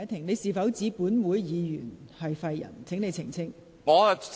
你是否指本會議員是廢人，請你澄清。